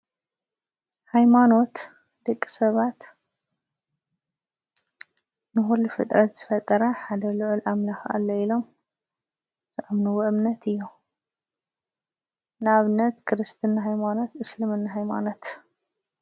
ሃይማኖት ደቂሰባት ንኹሉ ፍጥረት ዝፈጠረ ሓዳ ልዑል ኣምላኽ ኣሎ ኢሎም ዝኣምንዎ እምነት እዩ። ን ኣብነት ክርስትና ሃይማኖት እስልምና ሃይማኖት።